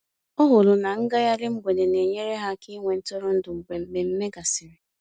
Ọ hụrụ na ngaghari mgbede na-enyere ya aka ịnwe ntụrụndụ mgbe mmemme gasịrị.